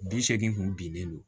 Bi seegin kun bilennen don